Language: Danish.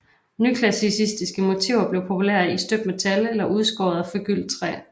Nyklassicistiske motiver blev populære i støbt metal eller udskåret og forgyldt træ